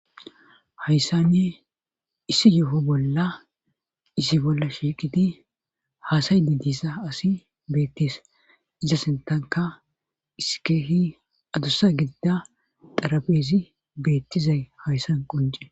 Hayssanne issi yefo bolla isi bolla shiiqidi haasay di dissa asi beettees iza sintanka isikeehi adossa gidida darabeezi beettizay hayssan qunce